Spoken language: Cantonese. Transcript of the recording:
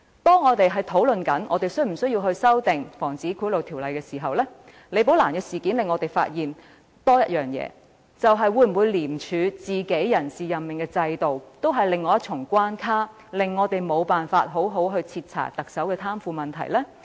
當我們討論是否需要修訂《防止賄賂條例》時，李寶蘭事件令我們有多一重發現：廉署內部的人事任命制度會否構成另一重關卡，令我們無法好好徹查特首的貪腐問題？